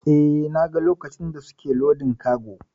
Eh, na ga lokacin da suke lodin kago.